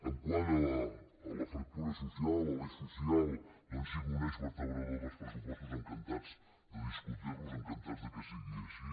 quant a la fractura social a l’eix social doncs que sigui un eix vertebrador dels pressupostos encantats de discutir los encantats que sigui així